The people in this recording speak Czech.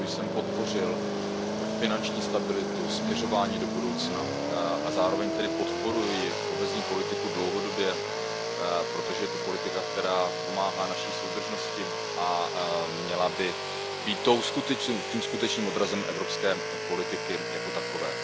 Proto jsem podpořil finanční stabilitu, směřování do budoucna a zároveň tedy podporuji kohezní politiku dlouhodobě, protože je to politika, která pomáhá naší soudržnosti a měla by být tím skutečným odrazem evropské politiky jako takové.